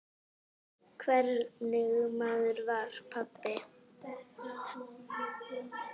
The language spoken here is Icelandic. Hvernig maður var pabbi?